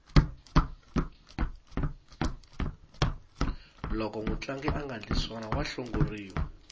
loko mutlangi angandli swona wa hlongoriwa